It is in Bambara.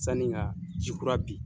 Sani ka jikura bin